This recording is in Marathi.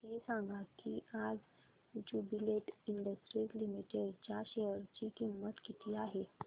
हे सांगा की आज ज्युबीलेंट इंडस्ट्रीज लिमिटेड च्या शेअर ची किंमत किती आहे